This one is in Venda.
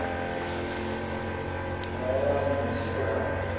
ḓa na nzhi we a